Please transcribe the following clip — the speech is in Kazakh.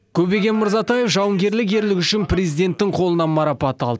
көбеген мырзатаев жауынгерлік ерлігі үшін президенттің қолынан марапат алды